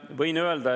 Mart Maastik, palun!